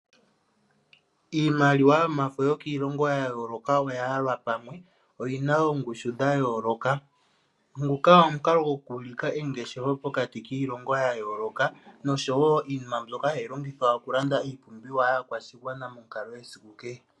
Iimaliwa yomafo yokiilongo ya yooloka oya yalwa pamwe , oyina oongushu dha yooloka. Nguka omukalo goku ulika engeshefo pokati kiilongo ya yooloka noshowo iinima mbyoka hayi longithwa okulanda iipumbiwa yaakwashigwana monkalo yesiku kehe.